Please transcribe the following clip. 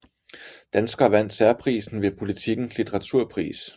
Dansker vandt særprisen ved Politikens Litteraturpris